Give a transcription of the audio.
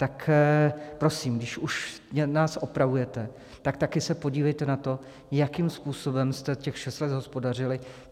Tak prosím, když už nás opravujete, tak také se podívejte na to, jakým způsobem jste těch šest let hospodařili.